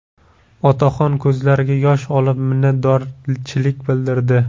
Otaxon ko‘zlariga yosh olib, minnatdorchilik bildirdi.